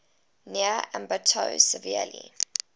near ambato severely